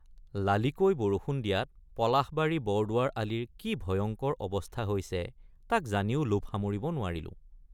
লালীকৈ বৰষুণ দিয়াত পলাশবাৰীবৰদুৱাৰ আলিৰ কি ভয়ঙ্কৰ অৱস্থা হৈছে তাক জানিও লোভ সামৰিব নোৱাৰিলোঁ।